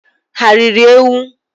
Ha riri ewu?